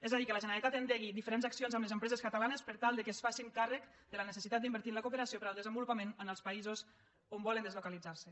és a dir que la generalitat endegui diferents accions amb les empreses catalanes per tal que es facin càrrec de la necessitat d’invertir en la cooperació per al desenvolupament en els països on volen deslocalitzarse